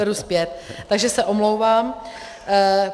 Beru zpět, takže se omlouvám.